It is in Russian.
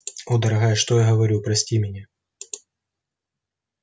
о дорогая что я говорю прости меня